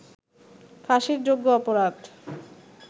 ফাঁসির যোগ্য অপরাধ